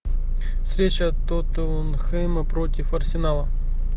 встреча тоттенхэма против арсенала